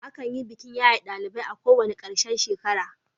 Akan yi bikin yaye ɗalibai a ƙarshen kowane shekara.